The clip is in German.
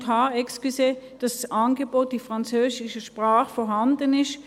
Bei Punkt h sind wir der Meinung, dass das Angebot in französischer Sprache vorhanden ist.